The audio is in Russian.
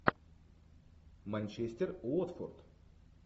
манчестер уотфорд